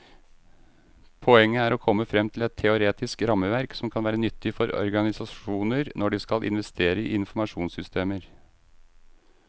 Poenget er å komme frem til et teoretisk rammeverk som kan være nyttig for organisasjoner når de skal investere i informasjonssystemer.